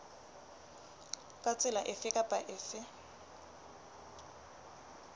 ka tsela efe kapa efe